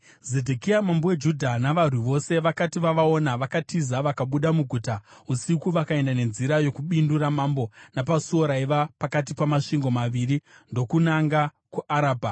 Zedhekia mambo weJudha navarwi vose vakati vavaona, vakatiza; vakabuda muguta usiku vakaenda nenzira yokubindu ramambo, napasuo raiva pakati pamasvingo maviri, ndokunanga kuArabha.